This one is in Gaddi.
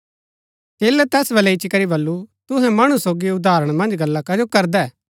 चेलै तैस बलै इच्ची करी बल्लू तुहै मणु सोगी उदाहरण मन्ज गल्ला कजो करदै